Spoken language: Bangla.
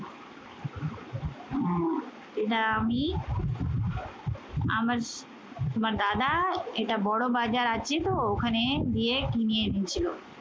এটা আমি আমার স তোমার দাদা এটা বড়বাজার আছে তো ওখানে গিয়ে কিনে এনেছিল।